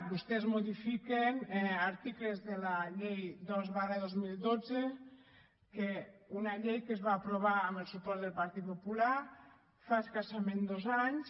vostès modifiquen articles de la llei dos dos mil dotze una llei que es va aprovar amb el suport del partit popular fa escassament dos anys